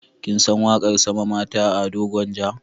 Kin san waƙar Sama Mata ta Ado Gwanja?